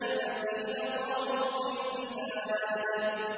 الَّذِينَ طَغَوْا فِي الْبِلَادِ